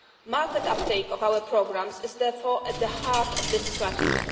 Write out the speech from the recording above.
Market uptake of our programmes is therefore at the heart of this strategy.